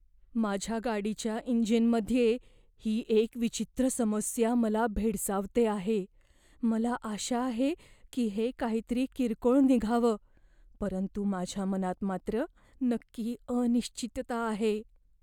माझ्या गाडीच्या इंजिनमध्ये ही एक विचित्र समस्या मला भेडसावते आहे. मला आशा आहे की हे काहीतरी किरकोळ निघावं, परंतु माझ्या मनात मात्र नक्की अनिश्चितता आहे.